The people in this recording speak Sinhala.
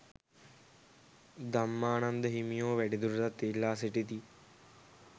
ධම්මානන්ද හිමියෝ වැඩිදුරටත් ඉල්ලා සිටිති.